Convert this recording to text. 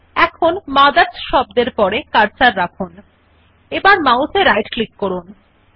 এখন মথার্স শব্দর পরে কার্সার রাখুন এবং মাউস এ রাইট ক্লিক করুন